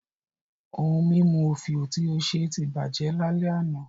Ohun mímu òfìò tí ó ṣe ti bàjẹ́ lálẹ́ àná